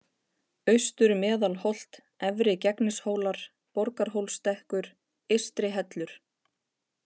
Austur-Meðalholt, Efri-Gegnishólar, Borgarhólsstekkur, Eystri-Hellur